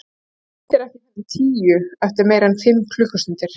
Það birtir ekki fyrr en tíu, eftir meira en fimm klukkustundir.